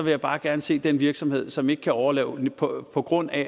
jeg bare gerne se den virksomhed som ikke kan overleve på på grund af